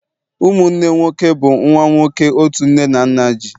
ụmụnne nwoke bụ nwa nwoke otu nne na nna ji